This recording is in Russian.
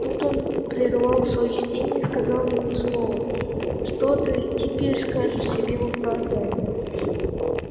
тут он прервал своё чтение и сказал мне сурово что ты теперь скажешь себе в оправдание